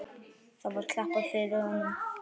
Þá var klappað fyrir honum.